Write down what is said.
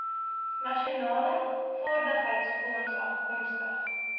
nasionale vaardigheidsfonds afkomstig